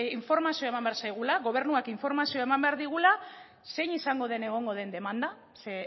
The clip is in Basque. informazioa eman behar zaigula gobernuak informazioa eman behar digula zein izango den egongo den demanda ze